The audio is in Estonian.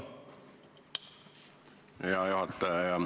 Hea juhataja!